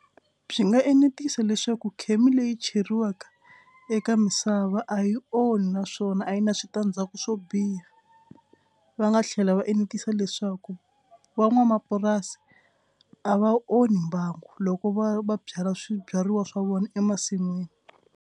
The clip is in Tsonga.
Byi nga enetisa leswaku khemi leyi cheriweke eka misava a yi onhi naswona a yi na switandzhaku swo biha. Va nga tlhela va enetisa leswaku van'wamapurasi a va onhi mbangu loko va va byala swibyariwa swa vona emasin'wini.